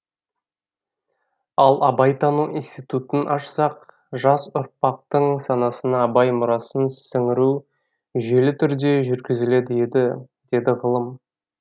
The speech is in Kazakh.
ал абайтану институтын ашсақ жас ұрпақтың санасына абай мұрасын сіңіру жүйелі түрде жүргізілер еді дейді ғалым